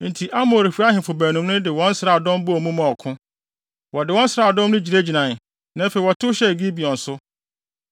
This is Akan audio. Enti Amorifo ahemfo baanum no de wɔn nsraadɔm bɔɔ mu maa ɔko. Wɔde wɔn nsraadɔm no gyinagyinae, na afei wɔtow hyɛɛ Gibeon so.